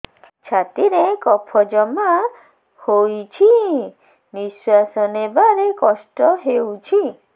ଛାତିରେ କଫ ଜମା ହୋଇଛି ନିଶ୍ୱାସ ନେବାରେ କଷ୍ଟ ହେଉଛି